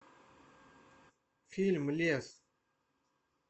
фильм лес